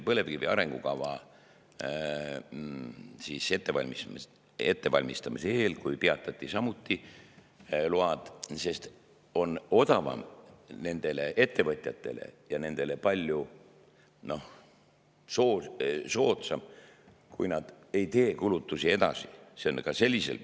Põlevkivi arengukava ettevalmistamise eel samuti load peatati, sest ettevõtjatele on odavam, palju soodsam see, kui nad ei tee kulutusi edasi.